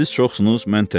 Siz çoxsunuz, mən tək.